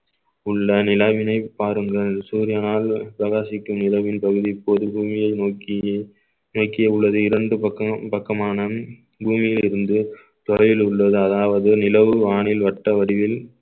உள்ள நிலாவினை பாருங்கள் சூரியனால் பிரகாசிக்கும் நிலவின் பகுதி பொது பூமியை நோக்கியே நோக்கி உள்ளது இரண்டு பக்கம் பக்கமான பூமியில் இருந்து தொலைவில் உள்ளது அதாவது நிலவு வானில் வட்ட வடிவில்